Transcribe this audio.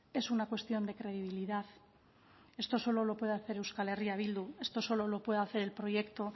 es una cuestión de credibilidad esto solo lo puede hacer euskal herria bildu esto solo lo puede hacer el proyecto